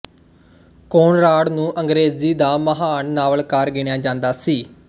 Konrad ਨੂੰ ਅੰਗਰੇਜ਼ੀ ਦਾ ਮਹਾਨ ਨਾਵਲਕਾਰ ਗਿਣਿਆ ਜਾਂਦਾ ਸੀ